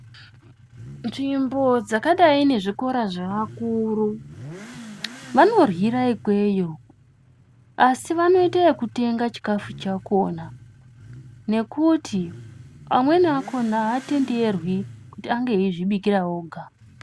Nzvimbo dzakadai ne zvikora zve vakuru vano ryira ikweyo asi vano ite yeku tanga chikafu chakona nekuti amweni akona atenderwi kuti ange eizvi bikira woga.